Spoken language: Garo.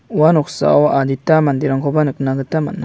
ua noksao adita manderangkoba nikna gita man·a.